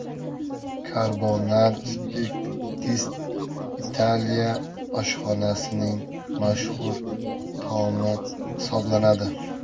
Karbonar spagettisi Italiya oshxonasining mashhur taomi hisoblanadi.